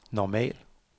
normal